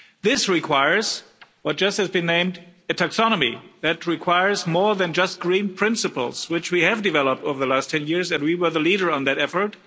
This requires what has just been named a taxonomy that requires more than just green principles, which we have developed over the last 10 years and we were the leader on that effort.